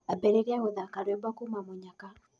Ambĩrĩrĩa gũthaka rwĩmbo kũũma mũnyaka